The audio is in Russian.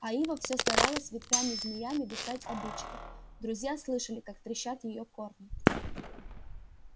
а ива всё старалась ветвями-змеями достать обидчиков друзья слышали как трещат её корни